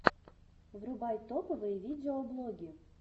врубай топовые видеоблоги